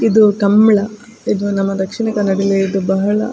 ಇದು ಕಂಬಳ ಇದು ನಮ್ಮ ದಕ್ಷಿಣ ಕನ್ನಡದಲ್ಲಿ ಇದು ಬಹಳ --